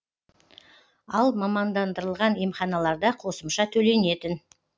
ал мамандандырылған емханаларда қосымша төленетін